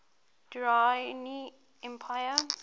durrani empire